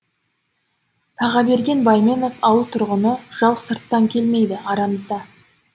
тағаберген байменов ауыл тұрғыны жау сырттан келмейді арамызда